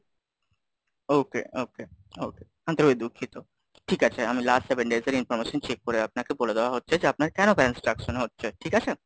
okay, okay, okay, আন্তরিক ভাবে দুঃখিত, ঠিক আছে আমি Last Seven Days এর Information check করে আপনাকে বলে দেওয়া হচ্ছে, যে আপনার কেন balance deduction হচ্ছে, ঠিক আছে?